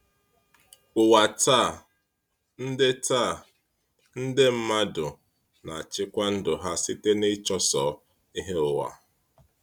Ụwa taa, nde taa, nde mmadụ na-achịkwa ndụ ha site n’ịchụso ihe ụwa.